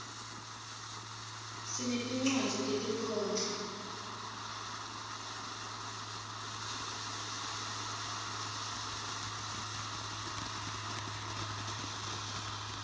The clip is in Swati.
sinetincwadzi tetinkhondlo